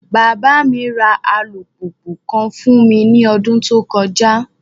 Baba mi ra alupupu kan fun mi ni ọdun to kọja